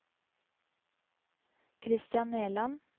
Christian Nerland